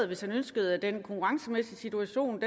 hvis han ønsker at den konkurrencemæssige situation